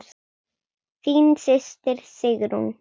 Þín systir, Sigrún.